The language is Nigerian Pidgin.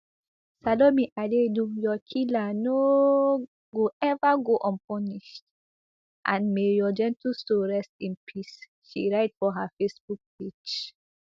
salome adaidu your killer no go eva go unpunished and may your gentle soul rest in peace she write for her facebook page